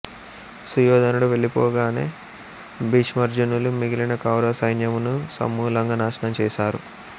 సుయోధనుడు వెళ్ళి పోగానే భీమార్జునులు మిగిలిన కౌరవ సైన్యమును సమూలంగా నాశనం చేసారు